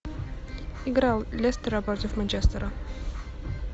игра лестера против манчестера